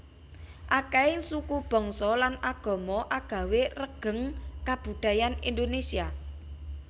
Akèhing suku bangsa lan agama agawé regeng kabudayan Indonésia